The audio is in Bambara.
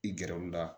I gɛrɛwula